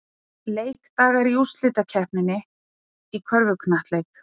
Leikdagar í úrslitakeppninni í körfuknattleik